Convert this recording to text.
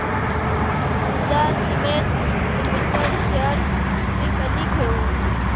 Ambuja cement limited shares मी कधी घेऊ